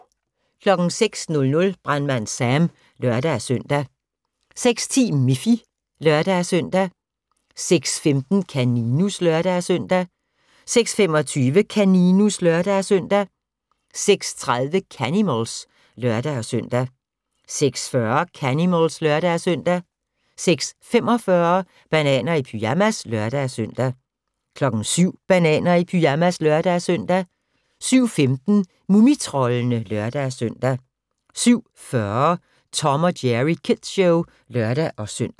06:00: Brandmand Sam (lør-søn) 06:10: Miffy (lør-søn) 06:15: Kaninus (lør-søn) 06:25: Kaninus (lør-søn) 06:30: Canimals (lør-søn) 06:40: Canimals (lør-søn) 06:45: Bananer i pyjamas (lør-søn) 07:00: Bananer i pyjamas (lør-søn) 07:15: Mumitroldene (lør-søn) 07:40: Tom & Jerry Kids Show (lør-søn)